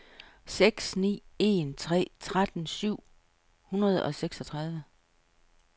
seks ni en tre tretten syv hundrede og seksogtredive